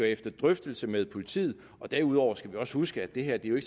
efter drøftelse med politiet derudover skal vi også huske at det her jo